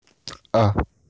а